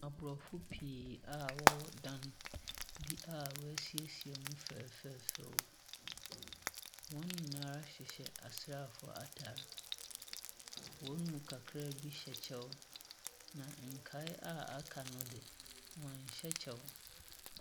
Abrɔfo pii a wɔwɔ dan bi a w'asiesie mu fɛfɛɛfɛ. Wɔn nyinaa hyehyɛ asraafo ataade. Wɔn mu kakra bi hyɛ kyɛw. Na nkae a aka no de wɔn nhyɛ kyɛw.